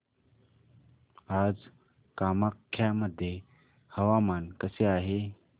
आज कामाख्या मध्ये हवामान कसे आहे